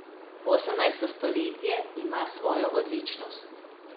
Osemnajsto stoletje ima svojo odličnost.